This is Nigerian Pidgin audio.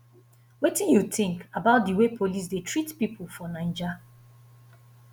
wetin you think about di way police dey treat people for naija